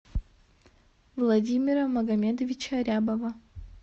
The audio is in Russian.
владимира магомедовича рябова